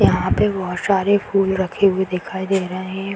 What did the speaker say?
यहाँ पे बहुत सारे फूल रखे हुए दिखाई दे रहें हैं।